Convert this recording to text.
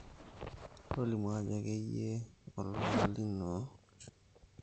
tolimu ajo keyie olola lino, olbene lotii peyie kisioki atum